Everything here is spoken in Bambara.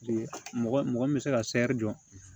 Mɔgɔ mɔgɔ min bɛ se ka jɔ